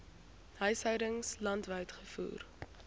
huishoudings landwyd gevoer